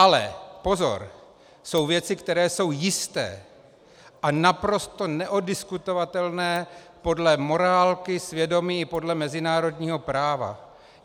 Ale pozor, jsou věci, které jsou jisté a naprosto neoddiskutovatelné podle morálky, svědomí i podle mezinárodního práva.